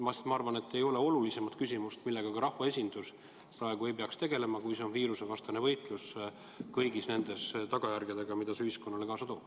Ma arvan, et praegu ei ole olulisemat küsimust, millega ka rahvaesindus peaks tegelema, kui on viirusevastane võitlus, võitlus kõigi nende tagajärgedega, mida see viirus ühiskonnale kaasa toob.